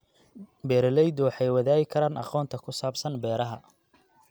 Beeraleydu waxay wadaagi karaan aqoonta ku saabsan beeraha.